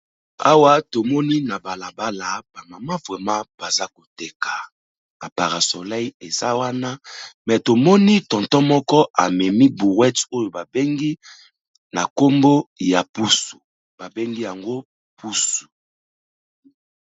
Awa tomoni na bala bala, ba mama vraiment baza koteka, ba para soleil eza wana me tomoni tonton moko amemi brouette oyo ba bengi na nkombo ya pusu ba bengi yango pusu.